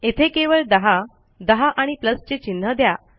येथे केवळ10 10 आणि प्लस चे चिन्ह द्या